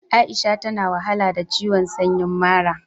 Aisha ta na wahala da ciwon sanyin mara.